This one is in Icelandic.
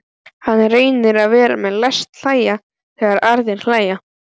Hann reynir að vera með, læst hlæja þegar aðrir hlæja.